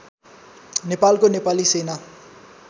नेपालको नेपाली सेना